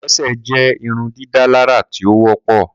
kolese jẹ irundidalara ti o wọpọ.